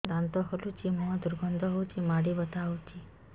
ଦାନ୍ତ ହଲୁଛି ମୁହଁ ଦୁର୍ଗନ୍ଧ ହଉଚି ମାଢି ବଥା ହଉଚି